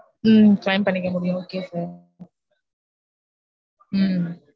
உம் claim பண்ணிக்க முடியும் okay sir